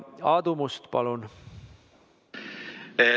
Aadu Must, palun!